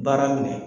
Baara minɛ